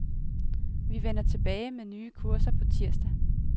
Vi vender tilbage med nye kurser på tirsdag.